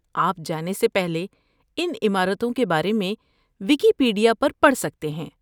آپ جانے سے پہلے ان عمارتوں کے بارے میں ویکیپیڈیا پر پڑھ سکتے ہیں۔